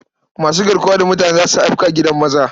Masu garkuwa da mutane za su afka gidan maza.